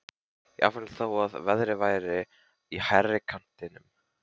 Jafnvel þó að verðið væri í hærri kantinum.